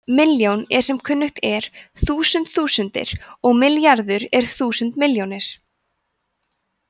milljón er sem kunnugt er þúsund þúsundir og milljarður er þúsund milljónir